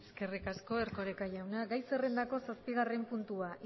eskerrik asko erkoreka jauna gai zerrendako zazpigarren puntua